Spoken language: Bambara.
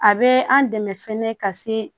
A bɛ an dɛmɛ fɛnɛ ka se